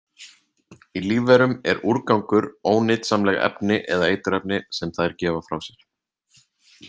Í lífverum er „úrgangur“ ónytsamleg efni eða eiturefni sem þær gefa frá sér.